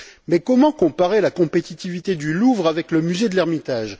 Mais comment comparer la compétitivité du Louvre avec celle du musée de l'Ermitage?